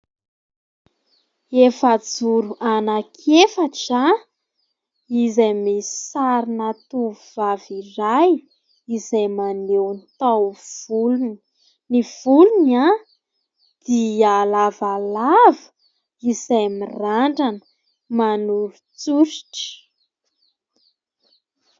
Efajoro anaky efatra izay misy sarina tovovavy iray, izay manogo ny taho volony, dia lavalava izay mirandrana manorotsoritra.